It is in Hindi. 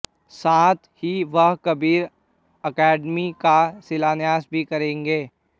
साथ ही वह कबीर अकादमी का शिलान्यास भी करेंगे